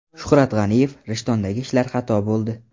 Shuhrat G‘aniyev: Rishtondagi ishlar xato bo‘ldi.